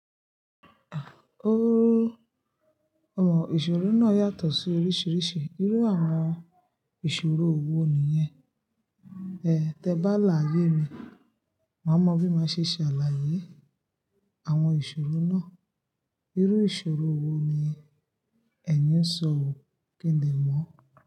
Iṣòro náà yàtọ̀ sí oríṣiríṣi, irú àwọn ìṣòro wo nìyẹn? Tẹ bá làáye mi, màá mọ bí máa ṣe ṣàlàyé àwọn ìṣòro náà. Irú ìṣòro wo ni ẹ̀yin ń sọ wò kídìnmọ̀